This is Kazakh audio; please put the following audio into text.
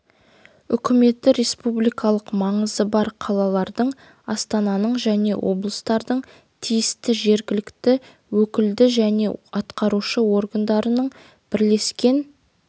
үкіметі республикалық маңызы бар қалалардың астананың және облыстардың тиісті жергілікті өкілді және атқарушы органдарының бірлескен